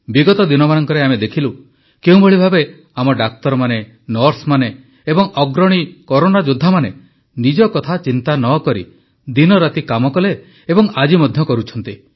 ବିଗତ ଦିନମାନଙ୍କରେ ଆମେ ଦେଖିଲୁ କେଉଁଭଳି ଭାବେ ଆମ ଡାକ୍ତରମାନେ ନର୍ସମାନେ ଏବଂ ଅଗ୍ରଣୀ କରୋନା ଯୋଦ୍ଧାମାନେ ନିଜ କଥା ଚିନ୍ତା ନ କରି ଦିନରାତି କାମ କଲେ ଏବଂ ଆଜି ମଧ୍ୟ କରୁଛନ୍ତି